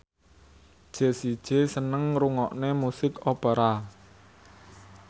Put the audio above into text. Jessie J seneng ngrungokne musik opera